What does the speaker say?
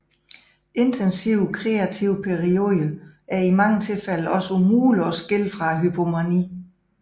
Intensivt kreative perioder er i mange tilfælde også umulige at skille fra hypomani